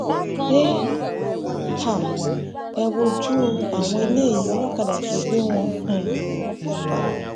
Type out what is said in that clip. ẹ um wojú àwọn eléyìí olókàdá tó gbé wọn um ni wọn fẹẹ pa